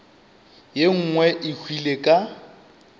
ye nngwe e hwile ka